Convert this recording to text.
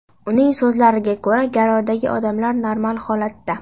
Uning so‘zlariga ko‘ra, garovdagi odamlar normal holatda.